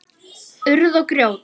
Urð og grjót.